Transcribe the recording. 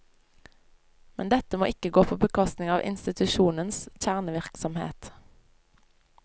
Men dette må ikke gå på bekostning av institusjonens kjernevirksomhet.